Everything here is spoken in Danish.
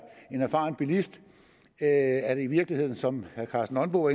en erfaren bilist er det i virkeligheden som herre karsten nonbo